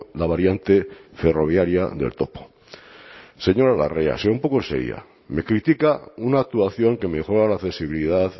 la variante ferroviaria del topo señora larrea sea un poco seria me critica una actuación que mejora la accesibilidad